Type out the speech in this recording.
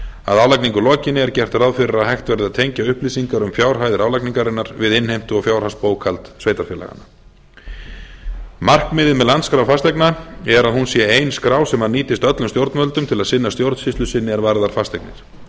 að álagningu lokinni er gert ráð fyrir að hægt verði að tengja upplýsingar um fjárhæðir álagningarinnar við innheimtu og fjárhagsbókhald sveitarfélaganna markmiðið með landskrá fasteigna er að hún sé ein skrá sem nýtist öllum stjórnvöldum til að sinna stjórnsýslu sinni er varðar fasteignir